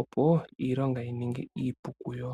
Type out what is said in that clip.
opo iilonga yi ninge iipu kuyo.